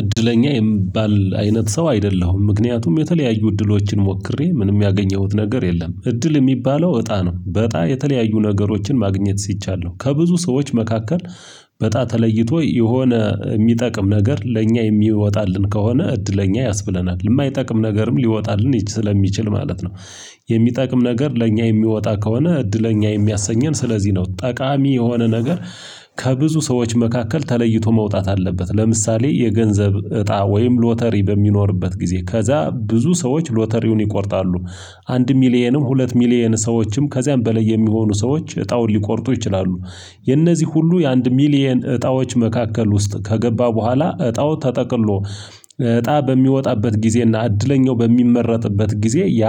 እድለኛ የምባል አይነት ሰው አይደለሁም ምክንያቱም የተለያዩ እድሎችን ሞክሬ ምንም ያገኘሁት ነገር የለም እድል የሚባለው እጣ ነው በእጣ የተለያዩ ነገሮችን ማግኘት ሲቻል ነው ከብዙ ሰዎች መካከል በእጣ ተለይቶ የሆነ የሚጠቅም ነገር ለእኛ የሚወጣልን ከሆነ እድለኛ ያስብለናል የማይጠቅም ነገርም ሊወጣልን ይች ስለሚችል ማለት ነው። የሚጠቅም ነገር ለእኛ የሚወጣ ከሆነ እድለኛ የሚያሰኘን ስለዚህ ነው ጠቃሚ የሆነ ነገር። ከብዙ ሰዎች መካከል ተለይቶ መውጣት አለበት ለምሳሌ የገንዘብ እጣ ወይም ሎተሪ በሚኖርበት ጊዜ ከዛ ብዙ ሰዎች ሎተሪውን ይቆርጣሉ። አንድ ሚሊየንም ሁለት ሚሊየን ሰዎችም ከዚያም በላይ የሚሆኑ ሰዎች እጣውን ሊቆርጡ ይችላሉ። የእነዚህ ሁሉ የአንድ ሚሊየን እጣዎች መካከል ውስጥ ከገባ በኋላ እጣው ተጠቅሎ እጣ በሚወጣበት ጊዜና እድለኛው በሚመረጥበት ጊዜ ያ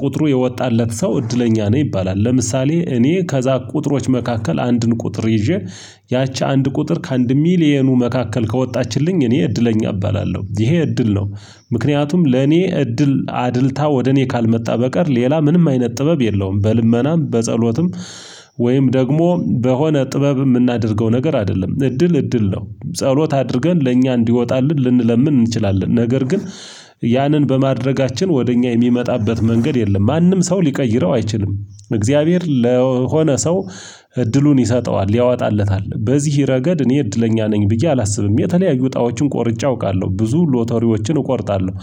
ቁጥሩ የወጣለት ሰው እድለኛ ነው ይባላል። ለምሳሌ እኔ ከዛ ቁጥሮች መካከል አንድን ቁጥር ይዤ ያቺ አንድ ቁጥር ከአንድ ሚሊየኑ መካከል ከወጣችልኝ እኔ እድለኛ እባላለሁ ይሄ እድል ነው። ምክንያቱም ለኔ እድል አድልታ ወደ እኔ ካልመጣ በቀር ሌላ ምንም አይነት ጥበብ የለውም በልመናም በጸሎትም። ወይም ደግሞ በሆነ ጥበብ የምናደርገው ነገር አይደለም እድል እድል ነው። ጸሎት አድርገን ለእኛ እንዲወጣልን ልንለምን እንችላለን ነገር ግን ያንን በማድረጋችን ወደ እኛ የሚመጣበት መንገድ የለም ማንም ሰው ሊቀይረው አይችልም። እግዚአብሔር ለሆነ ሰው እድሉን ይሰጠዋል ያወጣለታል በዚህ ረገድ እኔ እድለኛ ነኝ ብዬ አላስብም የተለያዩ እጣዎችን ቆርጬ አውቃለሁ ብዙ ሎተሪዎችን እቆርጣለሁ።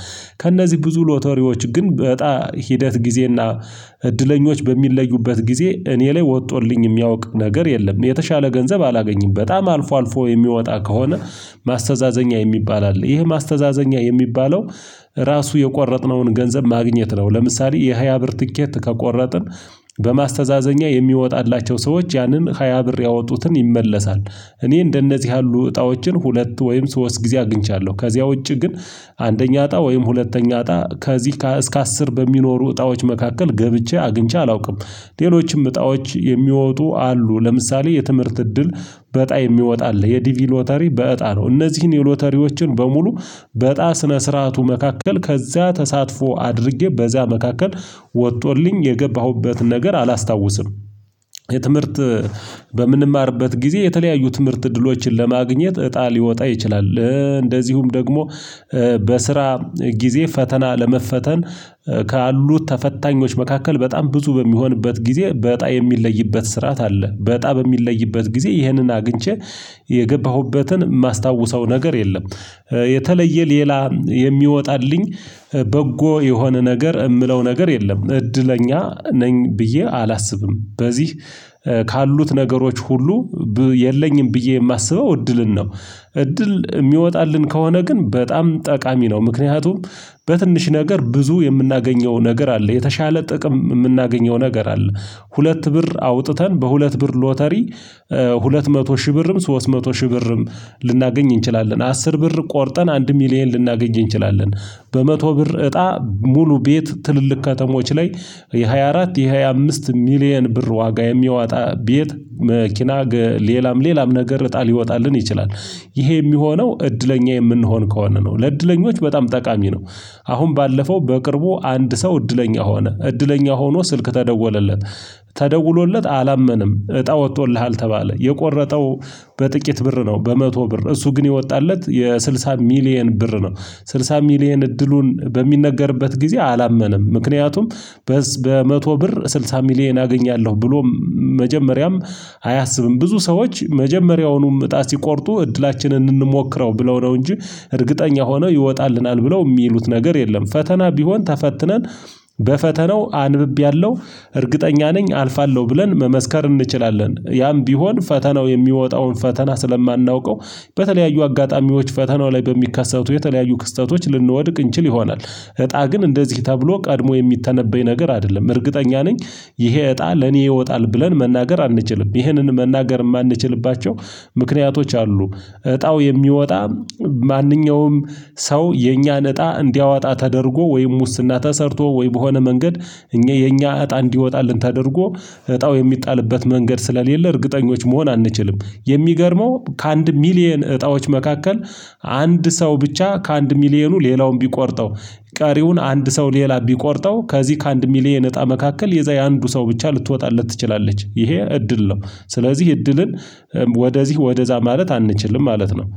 ከእነዚህ ብዙ ሎተሪዎች ግን በጣ ሂደት ጊዜና እድለኞች በሚለዩበት ጊዜ እኔ ላይ ወጥቶልኝ የሚያውቅ ነገር የለም። የተሻለ ገንዘብ አላገኝም በጣም አልፎ አልፎ የሚወጣ ከሆነ ማስተዛዘኛ የሚባል አለ ይህ ማስተዛዘኛ የሚባለው ራሱ የቆረጥነውን ገንዘብ ማግኘት ነው። ለምሳሌ የሃያ ብር ትኬት ከቆረጥን በማስተዛዘኛ የሚወጣላቸው ሰዎች ያንን ሃያ ብር ያወጡትን ይመለሳል። እኔ እንደነዚህ ያሉ እጣዎችን ሁለት ወይም ሶስት ጊዜ አግኝቻለሁ ከዚያ ውጪ ግን አንደኛ እጣ ወይም ሁለተኛ እጣ ከዚህ እስከ አስር በሚኖሩ እጣዎች መካከል ገብቼ አግኝቼ አላውቅም። ሌሎችም እጣዎች የሚወጡ አሉ ለምሳሌ የትምህርት እድል በጣይ የሚወጣ አለ የዲቪ ሎተሪ በጣ ነው እነዚህን የሎተሪዎችን በሙሉ በጣ ስነ ስርዓቱ መካከል ከዚያ ተሳትፎ አድርጌ በዛ መካከል ወጥቶልኝ የገባሁበት ነገር አላስታውስም። የትምህርት በምንማርበት ጊዜ የተለያዩ ትምህርት ድሎችን ለማግኘት እጣ ሊወጣ ይችላል። እንደዚሁም ደግሞ በስራ ጊዜ ፈተና ለመፈተን ካሉት ተፈታኞች መካከል በጣም ብዙ በሚሆንበት ጊዜ በእጣ የሚለይበት ስርዓት አለ በእጣ በሚለይበት ጊዜ ይህንን አግኝቼ የገባሁበትን ማስታውሰው ነገር የለም። የተለየ ሌላ የሚወጣልኝ በጎ የሆነ ነገር የምለው ነገር የለም እድለኛ ነኝ ብዬ አላስብም። በዚህ ካሉት ነገሮች ሁሉ የለኝም ብዬ የማስበው እድልን ነው እድል የሚወጣልን ከሆነ ግን በጣም ጠቃሚ ነው። ምክንያቱም በትንሽ ነገር ብዙ የምናገኘው ነገር አለ የተሻለ ጥቅም የምናገኘው ነገር አለ። ሁለት ብር አውጥተን በሁለት ብር ሎተሪ ሁለት መቶ ሺህ ብርም ሶስት መቶ ሺህ ብርም ልናገኝ እንችላለን አስር ብር ቆርጠን አንድ ሚሊየን ልናገኝ እንችላለን። በመቶ ብር እጣ ሙሉ ቤት ትልልቅ ከተሞች ላይ የሃያ አራት የሃያ አምስት ሚሊየን ብር ዋጋ የሚያወጣ ቤት መኪና ሌላም ሌላም ነገር እጣ ይወጣልን ይችላል። ይሄ የሚሆነው እድለኛ የምንሆን ከሆነ ነው ለእድለኞች በጣም ጠቃሚ ነው። አሁን ባለፈው በቅርቡ አንድ ሰው እድለኛ ሆነ እድለኛ ሆኖ ስልክ ተደወለለት። ተደውሎለት አላመነም እጣ ወጥቶልሃል ተባለ የቆረጠው በጥቂት ብር ነው በመቶ ብር እሱ ግን የወጣለት የስድሳ ሚሊየን ብር ነው። ስድሳ ሚሊየን እድሉን በሚነገርበት ጊዜ አላመነም ምክንያቱም በመቶ ብር ስልሳ ሚሊየን አገኛለሁ ብሎ መጀመሪያም አያሰብም ብዙ ሰዎች መጀመሪያውንም እጣ ሲቆርጡ እድላችንን እንሞክረው ብለው ነው እንጂ እርግጠኛ ሆነው ይወጣልናል ብለው የሚሉት ነገር የለም። ፈተና ቢሆን ተፈትነን በፈተናው አንብቤያለሁ እርግጠኛ ነኝ አልፋለሁ ብለን መመስከር እንችላለን ያም ቢሆን ፈተናው የሚወጣውን ፈተና ስለማናውቀው በተለያዩ አጋጣሚዎች ፈተናው ላይ በሚካሰቱ የተለያዩ ክስተቶች ልንወድቅ እንችል ይሆናል። እጣ ግን እንደዚህ ተብሎ ቀድሞ የሚተነበይ ነገር አይደለም እርግጠኛ ነኝ። ይሄ እጣ ለኔ ይወጣል ብለን መናገር አንችልም ይህንን መናገር የማንችልባቸው ምክንያቶች አሉ። እጣው የሚወጣ ማንኛውም ሰው የኛን እጣ እንዲያወጣ ተደርጎ ወይም ውስና ተሰርቶ ወይም በሆነ መንገድ እኛ የኛ እጣ እንዲወጣልን ተደርጎ እጣው የሚጣልበት መንገድ ስለሌለ እርግጠኞች መሆን አንችልም። የሚገርመው ከአንድ ሚሊየን እጣዎች መካከል አንድ ሰው ብቻ ከአንድ ሚሊየኑ ሌላውን ቢቆርጠው ቀሪውን አንድ ሰው ሌላ ቢቆርጠው ከዚህ ከአንድ ሚሊየን እጣ መካከል የዛ የአንዱ ሰው ብቻ ልትወጣለት ትችላለች ይሄ እድል ነው። ስለዚህ እድልን ወደዚህ ወደዛ ማለት አንችልም ማለት ነው